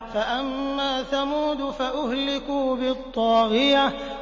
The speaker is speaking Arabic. فَأَمَّا ثَمُودُ فَأُهْلِكُوا بِالطَّاغِيَةِ